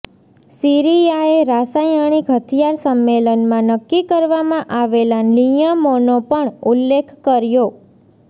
સીરિયાએ રાસાયણિક હથિયાર સંમેલનમાં નક્કી કરવામાં આવેલા નિયમોનો પણ ઉલ્લેખ કર્યો